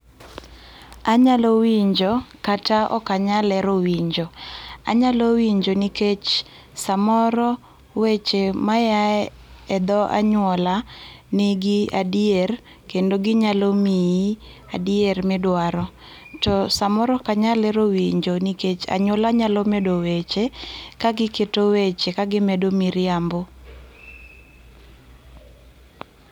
Anyalo winjo kata ok anyal hero winjo. Anyalo winjo nikech samoro weche ma yaye dho anyuola nigi adier kendo ginalo miyi adier midwaro to samoro ok anyal hero winjo nikech anyuola nyalo medo weche ka giketo weche ka gimedo miriambo